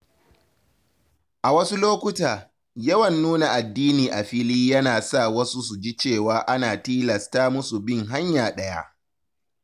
A wasu lokuta, yawan nuna addini a fili yana sa wasu su ji cewa ana tilasta musu bin hanya ɗaya.